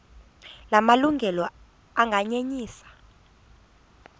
la malungelo anganyenyiswa